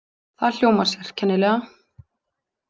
Það hljómar sérkennilega.